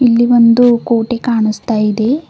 ಇಲ್ಲಿ ಒಂದು ಕೋಟೆ ಕಾಣಿಸ್ತಾ ಇದೆ.